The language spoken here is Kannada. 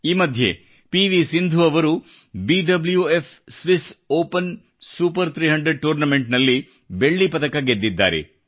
ಈ ಮಧ್ಯೆ ಪಿ ವಿ ಸಿಂಧು ಅವರು BWF Swiss open super 300 tournament ನಲ್ಲಿ ಬೆಳ್ಳಿ ಪದಕಗೆದ್ದಿದ್ದಾರೆ